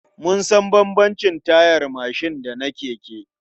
Mun san bambamcin tayar mashin da na keke.